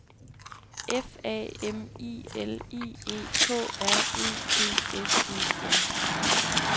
F A M I L I E K R E D S E N